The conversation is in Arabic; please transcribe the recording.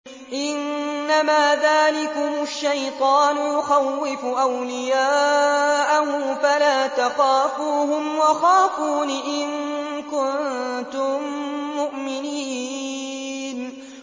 إِنَّمَا ذَٰلِكُمُ الشَّيْطَانُ يُخَوِّفُ أَوْلِيَاءَهُ فَلَا تَخَافُوهُمْ وَخَافُونِ إِن كُنتُم مُّؤْمِنِينَ